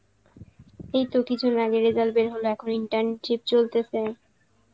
এই তো কিছুদিন আগে result বের হলো এখন internship চলতেসে